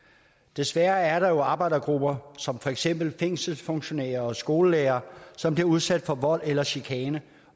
desværre er der jo arbejdergrupper som for eksempel fængselsfunktionærer og skolelærere som bliver udsat for vold eller chikane